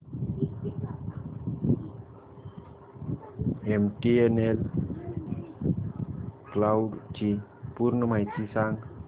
MTNL cloud ची पूर्ण माहिती सांग